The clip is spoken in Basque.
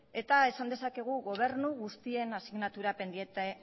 eta esan dezakegu gobernu guztien asignatura pendiente